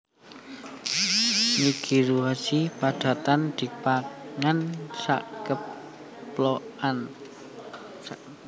Nigirizushi padatan dipangan sakemplokan